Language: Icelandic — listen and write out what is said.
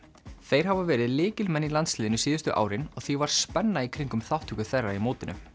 þeir hafa verið lykilmenn í landsliðinu síðustu árin og því var spenna í kringum þátttöku þeirra á mótinu